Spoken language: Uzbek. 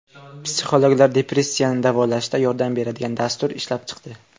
Psixologlar depressiyani davolashda yordam beradigan dastur ishlab chiqdi.